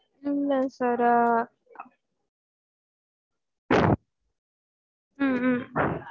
இல்ல sir அஹ் ஹம் ஹம்